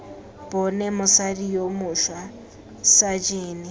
bone mosadi yo mošwa sajene